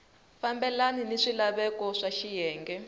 fambelani ni swilaveko swa xiyenge